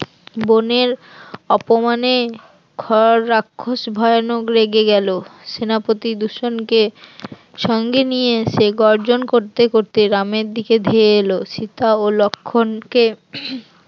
বোনের অপমানে খর রাক্ষস ভয়ানক রেগে গেল, সেনাপতি দূষণকে সঙ্গে নিয়ে এসে গর্জন করতে করতে রামের দিকে ধেয়ে এলো সীতা ও লক্ষণকে